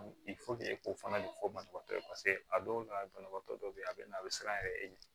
ko fana de fɔ banabagatɔ ye a dɔw la banabagatɔ dɔ be yan a be na a be siran yɛrɛ e ɲɛ